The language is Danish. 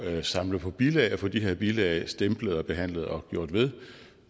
at samle på bilag og få de her bilag stemplet og behandlet og gjort ved